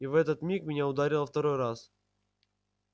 и в этот миг меня ударило второй раз